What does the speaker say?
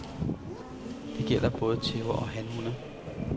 Det gælder både tæver og hanhunde.